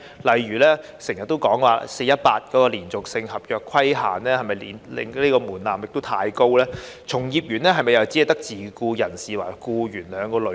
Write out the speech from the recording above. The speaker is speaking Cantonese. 例如經常提到的 "4-18" 的"連續性合約"規限這個門檻是否太高；從業員又是否只有自僱人士和僱員兩個類別？